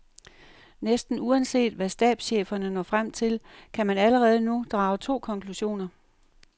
Næsten uanset hvad stabscheferne når frem til, kan man allerede nu drage to konklusioner.